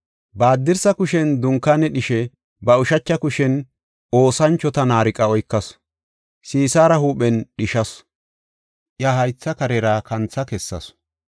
Ba haddirsa kushen dunkaane dhishe, ba ushacha kushen oosanchota naariqa oykasu. Sisaara huuphen dhishasu; iya haytha karera kantha kessasu.